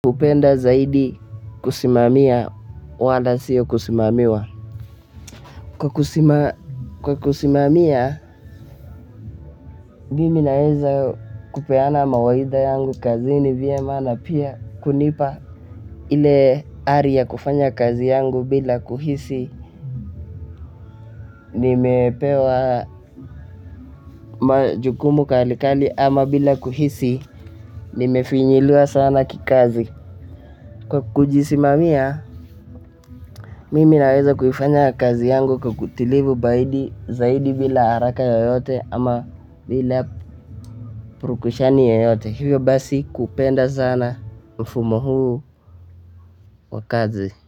Upenda zaidi kusimamia wala siyo kusimamiwa. Kwa kusimamia, mimi naweza kupeana mawahidha yangu kazini vyema na pia kunipa ile ari ya kufanya kazi yangu bila kuhisi, nimepewa majukumu kalikali ama bila kuhisi, nimefinyiliwa sana kikazi. Kwa kujisimamia, mimi naweza kufanya kazi yangu kwa utulivu zaidi bila haraka yoyote ama bila purukushani yoyote. Hivyo basi kupenda sana mfumo huu wa kazi.